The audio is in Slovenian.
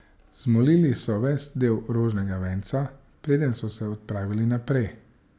Zmolili so ves del rožnega venca, preden so se odpravili naprej.